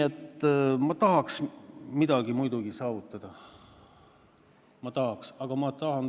Aga ma tahaks midagi muidugi saavutada, väga tahaks.